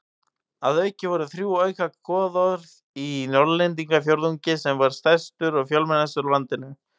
Að auki voru þrjú auka goðorð í Norðlendingafjórðungi sem var stærstur og fjölmennastur á landinu.